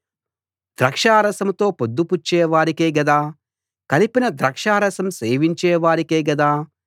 ద్రాక్షారసంతో పొద్దుపుచ్చే వారికే గదా కలిపిన ద్రాక్షారసం సేవించే వారికే గదా